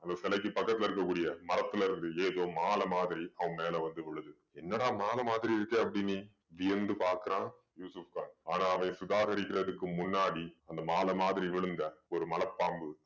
அந்த சிலைக்கு பக்கத்துல இருக்க கூடிய மரத்திலேருந்து ஏதோ மாலை மாதிரி அவன் மேல வந்து விழுது. என்னடா மாலை மாதிரி இருக்கே அப்படீன்னு வியந்து பாக்கறான் யூசுஃப் கான். ஆனா அதை சுதாகரிக்கறதுக்கு முன்னாடி அந்த மாலை மாதிரி விழுந்த ஒரு மலைப் பாம்பு